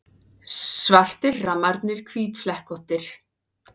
Svartir rammarnir hvítflekkóttir.